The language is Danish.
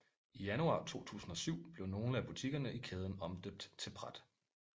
I januar 2007 blev nogle af butikkerne i kæden omdøbt til Pret